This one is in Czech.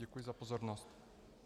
Děkuji za pozornost.